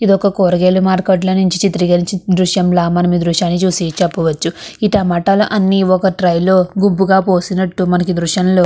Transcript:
ఇది ఒక కూరగాయల మార్కెట్ లో నుంచి చిత్రీకరించిన దృశ్యంలా మనం ఈ దృశ్యాన్ని చూసి చెప్పవచ్చు ఈ టమాటాలు అన్ని ఒక ట్రై లో గుంపుగ పోసినట్టు మనం ఈ దృశ్యంలో --